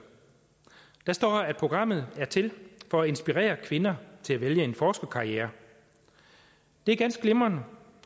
der står at programmet er til for at inspirere kvinder til at vælge en forskerkarriere det er ganske glimrende